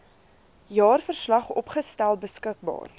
jaarverslag opgestel beskikbaar